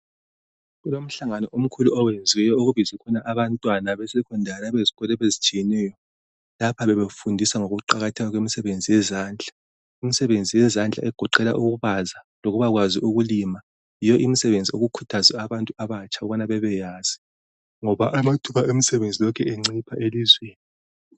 Kulomhlangano omkhulu oyenziweyo okubizwe abantwana abe secondary abezikolo ezitshiyeneyo bazobafundisa ngokuqakatheka kwemisebenzi yezandla, imisebenzi yezandla egoqela ukubaza lokubakwazi ukulima yiyo imisebenzi abantu abatsha ukubana bebeyazi ngoba amathuba onsebenzi lokhe encipha elizweni